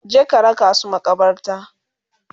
Je ka raka su maƙabarta!